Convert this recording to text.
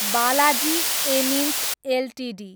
Balaji amines Ltd